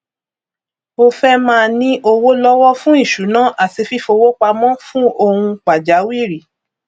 o fẹ máa ní owó lọwọ fún ìṣúná àti fífowó pamọ fún ohun pàjáwìrì